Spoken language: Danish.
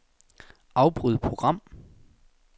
Afbryd program.